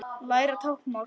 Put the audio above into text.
Læra táknmál